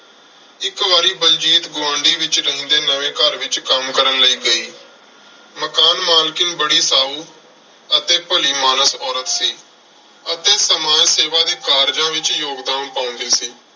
ਇੱਕ ਵਾਰੀ ਬਲਜੀਤ ਗੁਆਂਢ ਵਿੱਚ ਰਹਿੰਦੇ ਨਵੇਂ ਘਰ ਵਿੱਚ ਕੰਮ ਕਰਨ ਲਈ ਗਈ। ਮਕਾਨ ਮਾਲਕਣ ਬੜੀ ਸਾਉ ਮਕਾਨ ਮਾਲਕਣ ਬੜੀ ਸਾਉ ਅਤੇ ਭਲੀ ਮਾਨਸ ਔਰਤ ਸੀ ਅਤੇ ਸਮਾਜ ਸੇਵਾ ਦੇ ਕਾਰਜਾਂ ਵਿੱਚ ਯੋਗਦਾਨ ਪਾਉਂਦੀ ਸੀ।